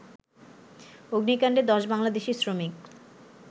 অগ্নিকাণ্ডে ১০ বাংলাদেশি শ্রমিক